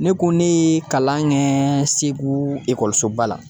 Ne ko ne kalan kɛ Segu ekɔlisoba la